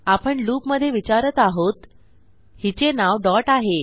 आपण लूपमधे विचारत आहोत हिचे नाव डॉट आहे